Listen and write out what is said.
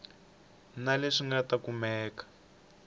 na leswi nga ta kumeka